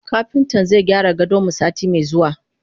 Kapintan zaigyara gadonmu sati me zuwa.